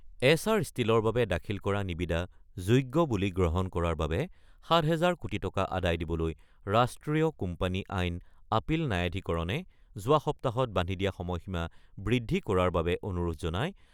Acer ষ্টিলৰ বাবে দাখিল কৰা নিবিদা যোগ্য বুলি গ্ৰহণ কৰাৰ বাবে ৭ হাজাৰ কোটি টকা আদায় দিবলৈ ৰাষ্ট্ৰীয় কোম্পানী আইন আপিল ন্যায়াধীকৰণে যোৱা সপ্তাহত বান্ধি দিয়া সময়সীমা বৃদ্ধি কৰাৰ বাবে অনুৰোধ জনাই